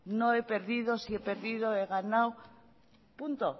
no he perdido sí he perdido he ganado punto